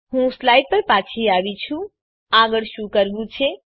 હું સ્લાઈડ પર પાછી આવી છું આગળ શું કરવું છે